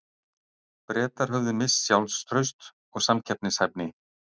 Bretar höfðu misst sjálfstraust og samkeppnishæfni.